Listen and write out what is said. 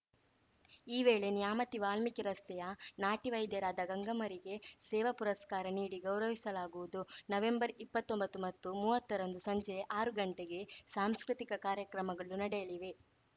ಈ ವೇಳೆ ನ್ಯಾಮತಿ ವಾಲ್ಮೀಕಿ ರಸ್ತೆಯ ನಾಟಿ ವೈದ್ಯರಾದ ಗಂಗಮ್ಮರಿಗೆ ಸೇವಾ ಪುರಸ್ಕಾರ ನೀಡಿ ಗೌರವಿಸಲಾಗುವುದು ನವಂಬರ್ಇಪ್ಪತ್ತೊಂಬತ್ತುಮತ್ತು ಮೂವತ್ತರಂದು ಸಂಜೆ ಆರುಗಂಟೆಗೆ ಸಾಂಸ್ಕೃತಿಕ ಕಾರ್ಯಕ್ರಮಗಳು ನಡೆಯಲಿವೆ